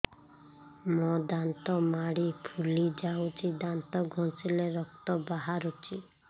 ମୋ ଦାନ୍ତ ମାଢି ଫୁଲି ଯାଉଛି ଦାନ୍ତ ଘଷିଲେ ରକ୍ତ ବାହାରୁଛି